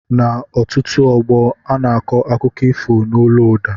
N' ọtụtụ ógbó ana akọ akụkọ ifo n' ólú ụda